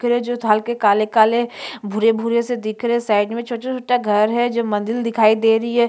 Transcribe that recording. ये जो थाल के काले - काले भूरे - भूरे से दिख रहे है साइड में छोटा -छोटा घर है जो मंदिर दिखाई दे रही है।